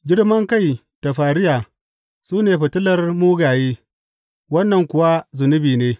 Girmankai da fariya, su ne fitilar mugaye, wannan kuwa zunubi ne!